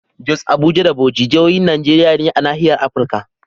Jos, Abuja da Bauchi jahohin Najeriya ne a nahiyar Afirka.